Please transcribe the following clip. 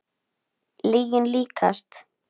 Lyginni líkast.